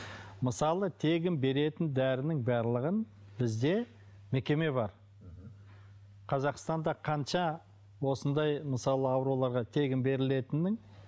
мысалы тегін беретін дәрінің барлығын бізде мекеме бар мхм қазақстанда қанша осындай мысалы ауруларға тегін берілетіннің